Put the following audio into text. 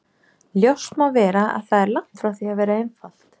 Ljóst má vera að það er langt frá því að vera einfalt.